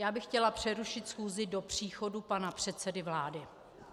Já bych chtěla přerušit schůzi do příchodu pana předsedy vlády.